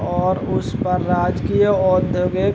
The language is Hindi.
और उस पर राजकीय औद्यगिक --